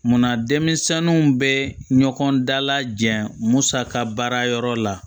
Munna denmisɛninw bɛ ɲɔgɔn dala jɛ musaka baara yɔrɔ la